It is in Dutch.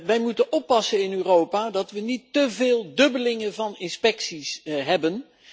Wij moeten oppassen in Europa dat we niet te veel overlapping van inspecties hebben.